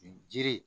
Jiri